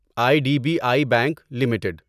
I D B I bank limited